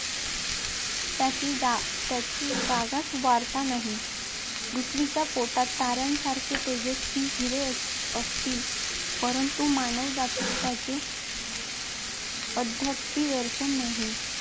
ज्याची जा जगास वार्ता नाही. पृथ्वीच्या पोटात तान्यांसारखे तेजस्वी हिरे असतील, परंतु मानवजाती त्यांचे अद्यापि दर्शन नाही.